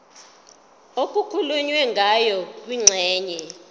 okukhulunywe ngayo kwingxenye